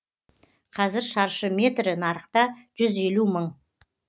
қазір шаршы метрі нарықта жүз елу мың